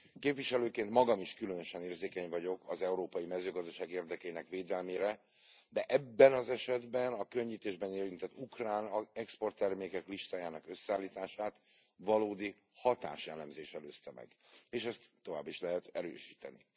Képviselőként magam is különösen érzékeny vagyok az európai mezőgazdaság érdekeinek védelmére, de ebben az esetben a könnyítésben érintett ukrán exporttermékek listájának összeállítását valódi hatáselemzés előzte meg, és ezt tovább is lehet erősíteni.